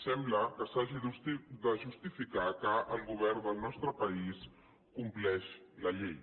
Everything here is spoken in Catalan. sembla que s’hagi de justificar que el govern del nostre país compleix la llei